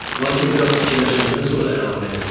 Lakin biraz fikirləşəndən sonra əlavə elədi: